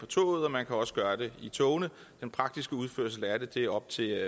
toget og man kan også gøre det i togene den praktiske udførelse af det er op til